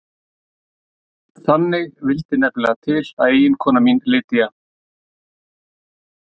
Þannig vildi nefnilega til að eiginkona mín Lydia